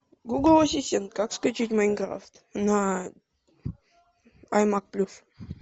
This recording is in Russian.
гугл ассистент как скачать майнкрафт на аймак плюс